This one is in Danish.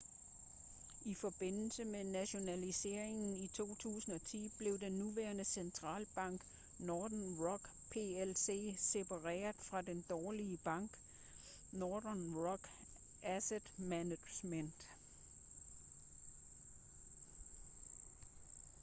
i forbindelse med nationaliseringen i 2010 blev den nuværende centrale bank nothern rock plc separeret fra den 'dårlige bank' northern rock asset management